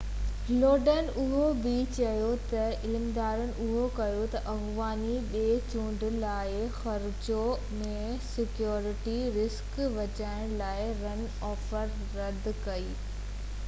لوڊن اهو بہ چيو تہ عملدارن اهو فيصلو ڪيو تہ افغاني ٻي چونڊ لاءِ خرچو ۽ سيڪيورٽي رسڪ بچائڻ لاءِ رن آف رد ڪري